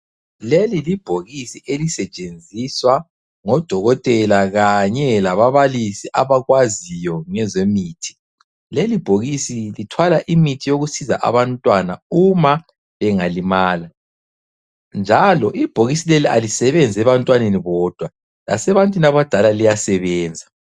Leli libhokisi elisetshenziswa ngodokotela kanye lababalisi abakwaziyo ngezemithi. Lelibhokisi lithwala imithi yokusiza abantwana uma bengalimala njalo ibhokisi leli alisebenzi ebantwaneni bodwa lasebantwini abadala liyasebenza.